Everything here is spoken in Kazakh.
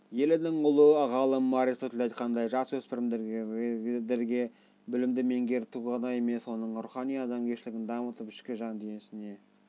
елінің ұлы ғалым аристотель айтқандай жасөспірімдерге білімді меңгерту ғана емес оның рухани-адамгершілігін дамытып ішкі жан-дүниесіне